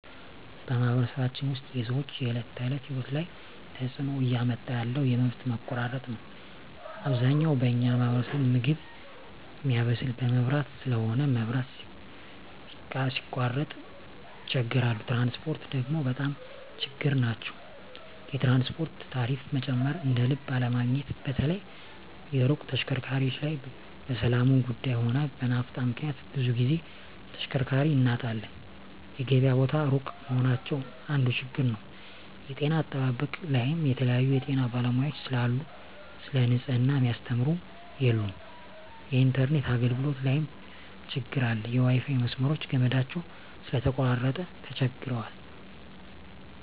በማኅበረሰባችን ውስጥ የሰዎች የዕለት ተእለት ህይወት ላይ ትጽእኖ እያመጣ ያለው የመብት መቆራረጥ ነዉ አብዛኛው በኛ ማህበረሰብ ምግብ ሚያበስል በመብራት ስለሆነ መብራት ሲቃረጥ ይቸገራሉ ትራንስፖርት ደግሞ በጣም ችግር ናቸዉ የትራንስፖርት ታሪፋ መጨመር እደልብ አለመገኘት በተለይ የሩቅ ተሽከርካሪዎች ላይ በሠላሙም ጉዱይ ሆነ በናፍጣ ምክንያት ብዙ ግዜ ተሽከርካሪ እናጣለን የገበያ ቦታ እሩቅ መሆናቸው አንዱ ችግር ነዉ የጤና አጠባበቅ ላይም የተለያዩ የጤና ባለሙያዎች ስለሉ ሰለ ንጽሕና ሚያስተምሩ የሉም የኢንተርነት አገልግሎት ላይም ትግር አለ የዋይፋይ መስመሮች ገመዳቸው ስለተቆራረጠ ተቸግረዋል